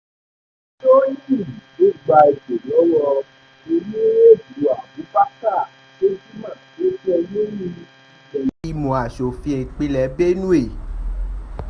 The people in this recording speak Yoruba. tó jẹ́ olórí ìlẹ́lẹ́gbìmọ̀ asòfin ìpínlẹ̀ benue